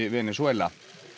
Venesúela